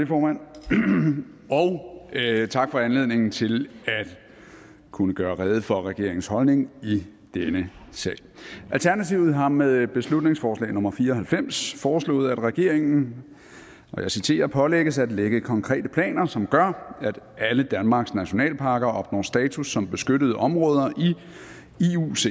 det formand og tak for anledningen til at kunne gøre rede for regeringens holdning i denne sag alternativet har med beslutningsforslag nummer b fire og halvfems foreslået at regeringen pålægges at lægge konkrete planer som gør at alle danmarks nationalparker opnår status som beskyttede områder